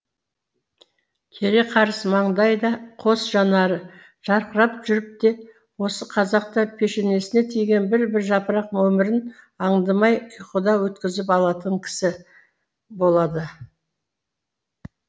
кере қарыс маңдайда қос жанары жарқырап жүріп те осы қазақта пешенесіне тиген бір бір жапырақ өмірін аңдамай ұйқыда өткізіп алатын кісі болады